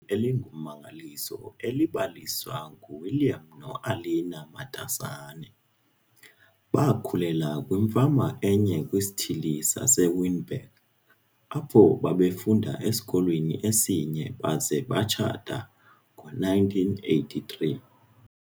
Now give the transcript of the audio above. elingummangaliso elibaliswa nguWilliam noAlina Matasane. Bakhulela kwimfama enye kwisithili saseWinburg, apho babefunda esikolweni esinye baza batshata ngo-1983.